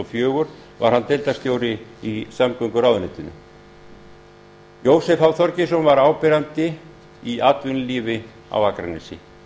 og fjögur var hann deildarstjóri í samgönguráðuneytinu jósef h þorgeirsson var áberandi í atvinnulífi á akranesi